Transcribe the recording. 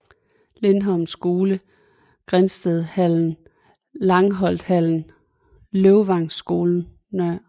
Lindholm Skole Grindstedhallen Langholthallen Løvvangskolen Nr